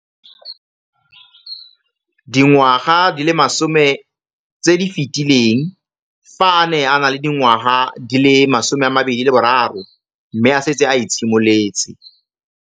Dingwaga di le 10 tse di fetileng, fa a ne a le dingwaga di le 23 mme a setse a itshimoletse.